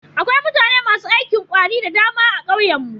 Akwai mutane masu aikin ƙwari da dama a ƙauyen mu.